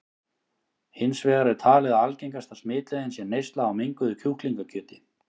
Hins vegar er talið að algengasta smitleiðin sé neysla á menguðu kjúklingakjöti.